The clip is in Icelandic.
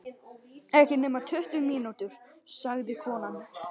Ekki nema tuttugu mínútur, sagði konan.